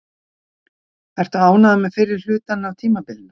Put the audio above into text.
Ertu ánægður með fyrri hlutann á tímabilinu?